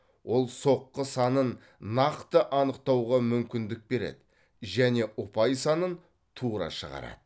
ол соққы санын нақты анықтауға мүмкіндік береді және ұпай санын тура шығарады